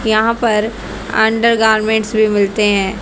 यहां पर अंडरगारमेंट भी मिलते है।